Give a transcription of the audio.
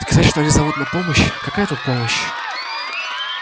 сказать что они зовут на помощь какая тут помощь